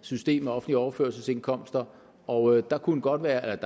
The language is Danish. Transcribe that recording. system af offentlige overførselsindkomster og der kunne godt være